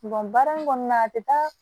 baara in kɔnɔna na a tɛ taa